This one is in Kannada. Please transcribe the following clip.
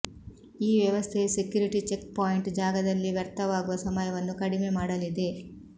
ಈ ವ್ಯವಸ್ಥೆಯು ಸೆಕ್ಯುರಿಟಿ ಚೆಕ್ ಪಾಯಿಂಟ್ ಜಾಗದಲ್ಲಿ ವ್ಯರ್ಥವಾಗುವ ಸಮಯವನ್ನು ಕಡಿಮೆ ಮಾಡಲಿದೆ